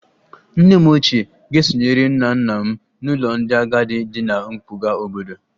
Nne m ochie ga-esonyere nna nna m n'ụlọ ndị agadi dị ná mpụga obodo